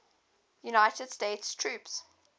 united states troops